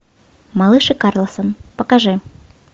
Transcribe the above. малыш и карлсон покажи